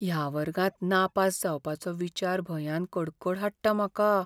ह्या वर्गांत नापास जावपाचो विचार भंयान कडकड हाडटा म्हाका.